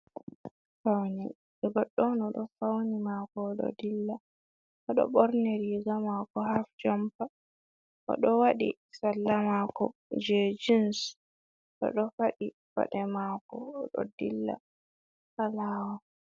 Faune, ɗo goɗɗo o ɗo fauni mako o ɗo dilla. O ɗo ɓorni riga mako haf jompa, o ɗo waɗi salla mako jei jins. O ɗo faɗi paɗe mako, o ɗo dilla ha lawol.